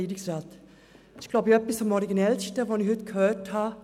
Es ist, glaube ich, etwas vom Originellsten, was ich heute gehört habe: